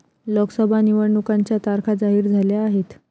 लोकसभा निवडणुकांच्या तारखा जाहीर झाल्या आहेत.